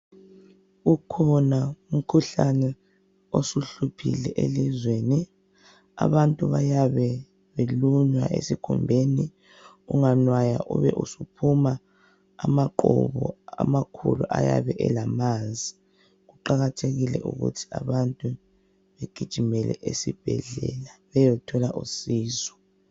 Ukhona umkhuhlane osuhluphile elizweni. Abantu bayabe belunywa esikhumbeni. Unganwaya, ube usuphuma amaqhubu, amakhulu, ayabe elamanzi. Kuqakathekile ukuthi abantu begijimele esibhedlela. Bayethola usizo.